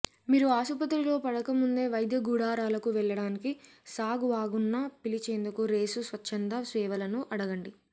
మీరు ఆసుపత్రిలో పడకముందే వైద్య గుడారాలకు వెళ్ళడానికి సాగ్ వాగన్ను పిలిచేందుకు రేసు స్వచ్ఛంద సేవలను అడగండి